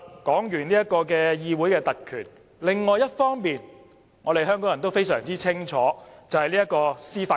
說完議會特權，另一方面，香港人也非常清楚司法公義。